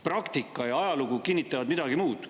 Praktika ja ajalugu kinnitavad midagi muud.